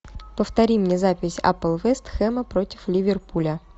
повтори мне запись апл вест хэма против ливерпуля